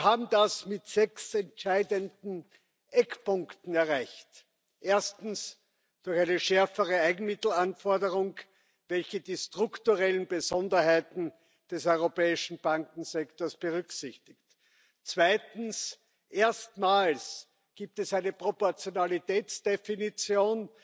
Wir haben das mit sechs entscheidenden Eckpunkten erreicht Erstens durch eine schärfere Eigenmittelanforderung, welche die strukturellen Besonderheiten des europäischen Bankensektors berücksichtigt. Zweitens Erstmals gibt es eine Proportionalitätsdefinition